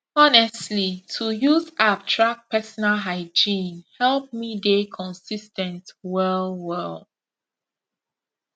honestly to use app track personal hygiene help me dey consis ten t well well